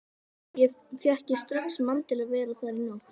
Fékk ég strax mann til að vera þar í nótt.